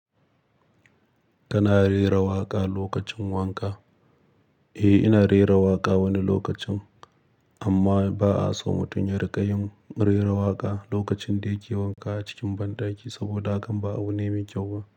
Kana rera waƙa lokacin wanka? Eh, ina rera waƙa wani lokacin, amma ba'a so mutum ya riƙa yin rera waƙa lokacin da yake wanka a cikin banɗaki saboda hakan ba abu ne mai kyau ba.